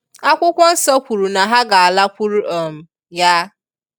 Akwukwo nsọ kwuru na ha ga alakwuru um Ya.